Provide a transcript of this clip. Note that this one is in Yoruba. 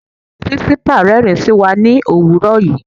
Principal rẹ́rin sí wa ní òwúrọ̀ yìí.